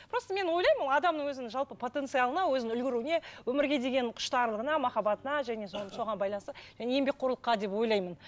просто мен ойлаймын ол адамның өзінің жалпы потенциалына өзінің үлгеруіне өмірге деген құштарлығына махаббатына және соған байланысты және еңбекқорлыққа деп ойлаймын